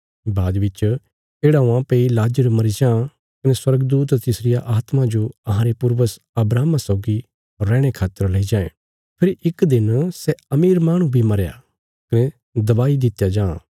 बाद बिच येढ़ा हुआं भई लाजर मरी जां कने स्वर्गदूत तिसरिया आत्मा जो अहांरे पूर्वज अब्राहमा सौगी रैहणे खातर लेई जांये फेरी इक दिन सै अमीर माहणु बी मरया कने दबाई दित्या जां